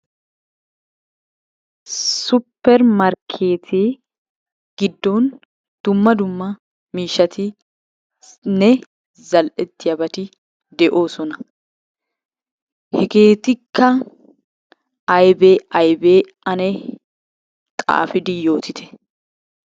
Supper markkeettee giddon dumma dumma miishshatinne zal'etiyabati de'oosona. Hegeetikka aybee aybee ane xaafidi yoottite.